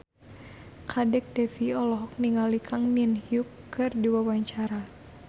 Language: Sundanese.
Kadek Devi olohok ningali Kang Min Hyuk keur diwawancara